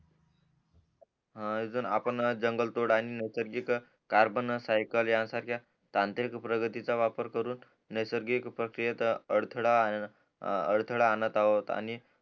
हा अजून आपण जंगल तोड आणि नैसर्गिक कार्बन सायकल यांसारख्या तांत्रिक प्रगतीचा वापर करून नैसर्गिक प्रक्रियेत अडथडा अडथडा अनंत आहोत आणि